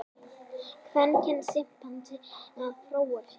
Kvenkyns simpansi að fróa sér.